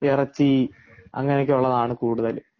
ഇറച്ചി അങ്ങനെയൊക്കെ ഉള്ളതാണ് കൂടുതലും